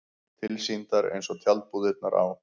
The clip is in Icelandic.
Tilsýndar eins og tjaldbúðirnar á